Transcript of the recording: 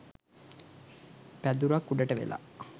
පැදුරක් උඩට වෙලා